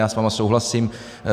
Já s vámi souhlasím.